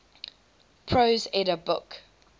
prose edda book